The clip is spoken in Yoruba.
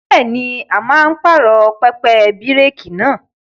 Bẹ́ẹ̀ni, a máa pààrọ̀ pẹpẹ bíréékì náà.